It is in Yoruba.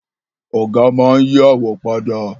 Ọ̀gá máa n yí àwo padà